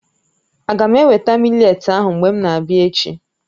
Aga m eweta mị́letí ahụ mgbe m na-abịa echi?